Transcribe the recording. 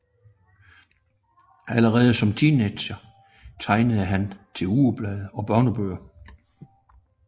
Allerede som teenager tegnede han til ugeblade og børnebøger